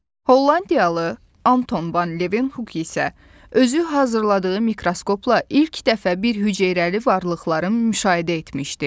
Hollandiyalı Anton Van Levenhuk isə özü hazırladığı mikroskopla ilk dəfə bir hüceyrəli varlıqları müşahidə etmişdi.